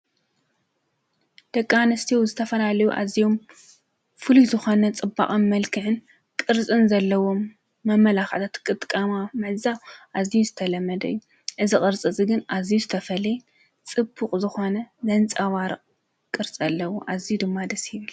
ደቂ ኣንስትዮ ዝተፈላለዩ ኣዝዮም ፍሉይ ዝኾነ ፅባቀን መልካዕን ቕርፅን ዘለዎም መመላኽዕታት ክጥቀማ ምዕዛብ ኣዝዩ ዝተለመደ እዩ። እዚ ቅርፂ እዚ ግን ኣዝዩ ዝተፈለየ ፅቡቅ ዝኾነ ዘንፃባርቅ ቅርፂ ኣለዎ። ኣዝዩ ድማ ደስ ይብል።